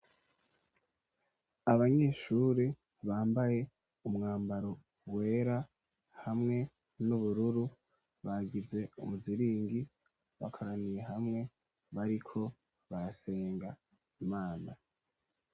Abanyeshuri bambaye umwambaro wera hamwe n'ubururu bagize umuziringi bakaraniye hamwe bariko barasenga imana.